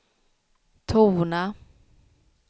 tona